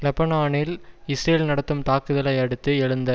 லெபனானில் இஸ்ரேல் நடத்தும் தாக்குதலை அடுத்து எழுந்த